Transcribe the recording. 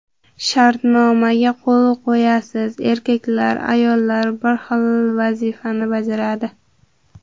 Shartnomaga qo‘l qo‘yasiz: erkaklar, ayollar bir xil vazifani bajaradi.